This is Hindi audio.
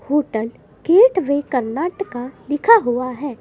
होटल गेटवे कर्नाटका लिखा हुआ है।